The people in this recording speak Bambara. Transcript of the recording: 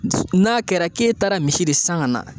N'a kɛra k'e taara misi de san ka na